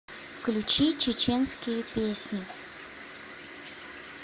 включи чеченские песни